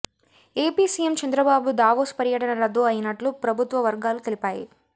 AP CM Chandrababu Davos పర్యటన రద్దు అయినట్లు ప్రభుత్వ వర్గాలు తెలిపాయి